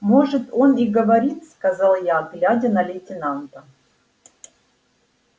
может он и говорит сказал я глядя на лейтенанта